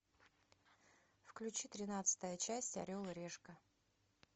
включи тринадцатая часть орел и решка